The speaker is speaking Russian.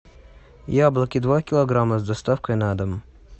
яблоки два килограмма с доставкой на дом